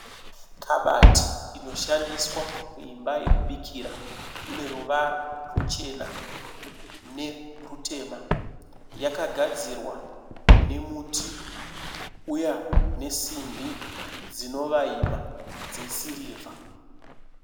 Kabati inoshandiswa muimba yokubikira ine ruchena nerutema. Yakagadzirwa nemuti uya nesimbi dzinovaima dzesirivha.